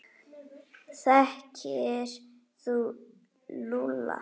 Þekkir þú Lúlla?